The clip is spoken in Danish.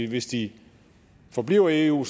hvis de forbliver i eu